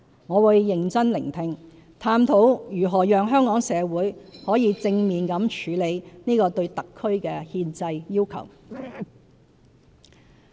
我會認真聆聽，探討如何讓香港社會可以正面地處理這個對特區的憲制要求。